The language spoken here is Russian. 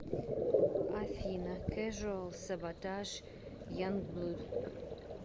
афина кэжуал саботаж янгблуд